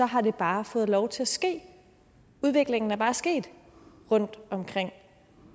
har bare fået lov til at ske udviklingen er bare sket rundtomkring